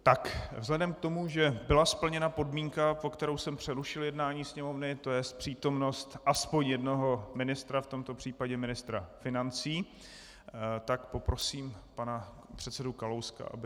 Tak vzhledem k tomu, že byla splněna podmínka, pro kterou jsem přerušil jednání Sněmovny, to jest přítomnost aspoň jednoho ministra, v tomto případě ministra financí, tak poprosím pana předsedu Kalouska, aby...